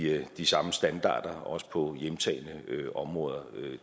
have de samme standarder også på hjemtagne områder